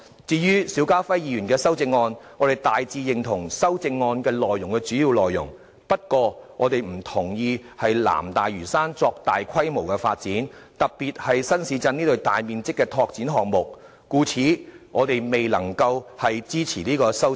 至於邵家輝議員的修正案，我們大致認同修正案的主要內容，不過不同意在南大嶼山作大規模發展，特別是新市鎮這類大面積的拓展項目，故此我們未能支持該項修正案。